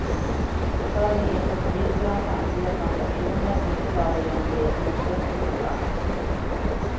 Då tar vi in uppgifter om samtliga transaktioner, inte bara i de tre utpekade bolagen.